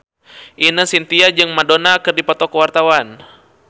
Ine Shintya jeung Madonna keur dipoto ku wartawan